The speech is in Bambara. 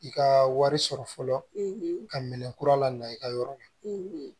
I ka wari sɔrɔ fɔlɔ ka minɛ kura la na i ka yɔrɔ la